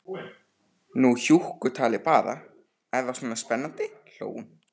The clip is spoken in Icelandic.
Nú hjúkkutalið bara, er það svona spennandi, hló hún.